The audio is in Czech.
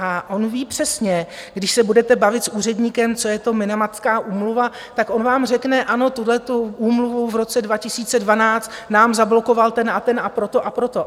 A on ví přesně, když se budete bavit s úředníkem, co je to Minamatská úmluva, tak on vám řekne: Ano, tuhletu úmluvu v roce 2012 nám zablokoval ten a ten a proto a proto.